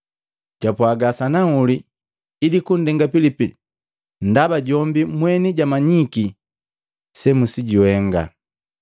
Japwaga sanahuli ili kundenga Pilipi, ndaba jombi mweni jamanyiki semusijuhenga.